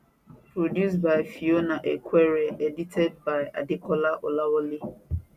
produced by fiona equere edited by adekola olawale